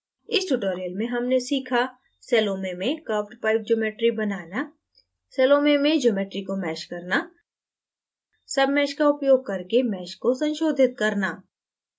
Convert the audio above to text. इस tutorial में हमने सीखा: